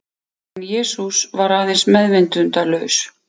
En Jesús var aðeins meðvitundarlaus.